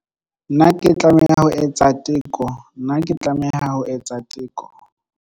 Na ke tlameha ho etsa teko Na ke tlameha ho etsa teko.